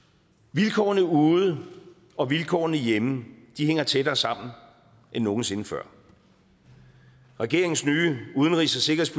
vilkårene ude og vilkårene hjemme hænger tættere sammen end nogensinde før regeringens nye udenrigs